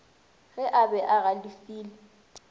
ge a be a galefile